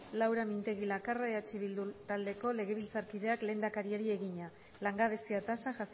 laura mintegi lakarra eh bildu taldeko legebiltzarkideak lehendakariari egina langabezia tasa